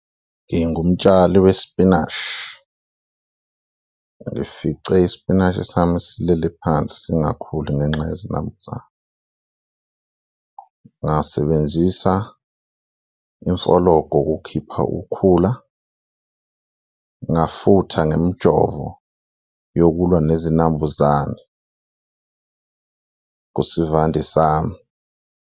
Ngingumtshali wesipinashi, ngifice ispinashi sami silele phansi singakhuli ngenxa yezinambuzane, ngasebenzisa imfologo ukukhipha ukhula, ngafutha ngemijovo yokulwa nezinambuzane kusivande sami.